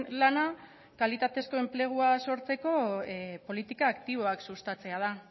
lana kalitatezko enplegua sortzeko politika aktiboak sustatzea da